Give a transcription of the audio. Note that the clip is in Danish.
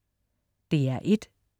DR1: